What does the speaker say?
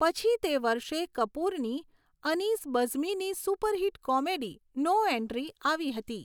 પછી તે વર્ષે કપૂરની અનીસ બઝમીની સુપર હિટ કોમેડી 'નો એન્ટ્રી' આવી હતી.